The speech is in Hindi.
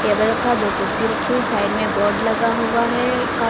टेबल रखा है दो कुर्सी रखी हुई साइड में बोर्ड लगा हुआ है कारों --